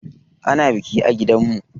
Ana biki a gidanmu.